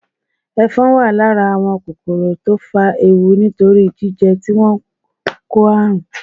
Ẹ̀fọn wà lára ​​àwọn kòkòrò tó fa ewu nítorí jíjẹ́ tí wọ́n ń kó àrùn.